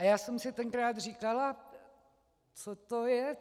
A já jsem si tenkrát říkala: Co to je?